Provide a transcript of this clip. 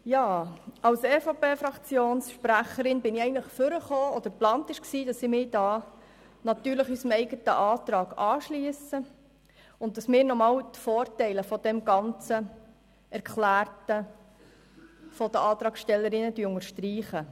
Als EVP-Fraktionssprecherin habe ich eigentlich geplant, dass ich mich hier am Rednerpult natürlich unserem eigenen Antrag anschliesse und noch einmal die Vorteile dessen unterstreiche, was die Antragstellerinnen erklärt haben.